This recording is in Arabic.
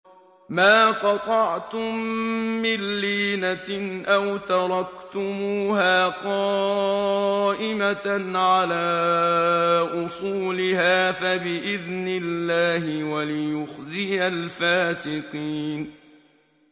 مَا قَطَعْتُم مِّن لِّينَةٍ أَوْ تَرَكْتُمُوهَا قَائِمَةً عَلَىٰ أُصُولِهَا فَبِإِذْنِ اللَّهِ وَلِيُخْزِيَ الْفَاسِقِينَ